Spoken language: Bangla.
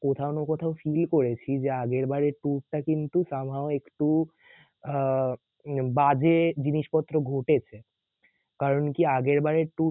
কোথাও না কোথাও feel করেছি যে আগেরবারের tour টা কিন্তু somehow একটু আহ বাজে জিনিসপত্র ঘটেছে কারণ কি আগেরবারের tour